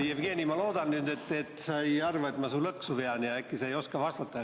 Jevgeni, ma loodan, et sa ei arva, et ma su lõksu vean, ja äkki sa ei oska vastata.